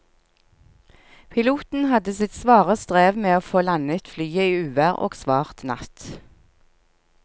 Piloten hadde sitt svare strev med å få landet flyet i uvær og svart natt.